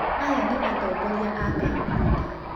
Aya nĩ atongoria a komputa.